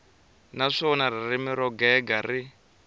naswona ririmi ro gega ri